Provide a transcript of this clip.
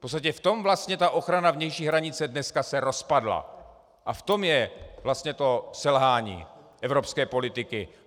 V tom vlastně ta ochrana vnější hranice se dneska rozpadla a v tom je vlastně to selhání evropské politiky.